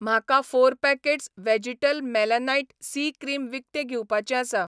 म्हाका four packets vegetable मेलानाइट सी क्रीम विकतें घेवपाचें आसा